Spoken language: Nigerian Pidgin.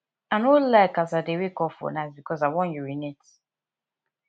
i no like as i dey wake up for night because i wan urinate